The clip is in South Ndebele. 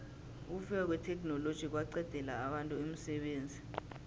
ukufika kwetheknoloji kwaqedela abantu umsebenzi